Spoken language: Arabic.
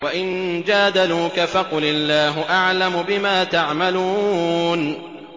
وَإِن جَادَلُوكَ فَقُلِ اللَّهُ أَعْلَمُ بِمَا تَعْمَلُونَ